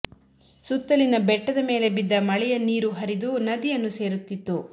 ಸುತ್ತಲಿನ ಬೆಟ್ಟದ ಮೇಲೆ ಬಿದ್ದ ಮಳೆಯ ನೀರು ಹರಿದು ನದಿಯನ್ನು ಸೇರುತ್ತಿತ್ತು